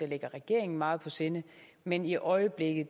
ligger regeringen meget på sinde men i øjeblikket